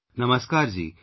Namaskar ji